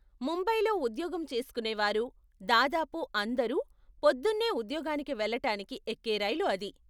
ముంబైలో ఉద్యోగం చేస్కునేవారు దాదాపు అందరూ పొద్దున్నే ఉద్యోగానికి వెళ్ళటానికి ఎక్కే రైలు అది.